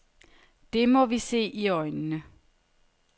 Det må vi se i øjnene.